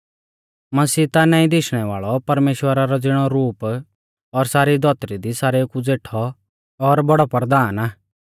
मसीह ता नाईं दिशणै वाल़ौ परमेश्‍वरा रौ ज़िणौ रूप और सारी धौतरी दी सारेऊ कु ज़ेठौ और बौड़ौ परधान आ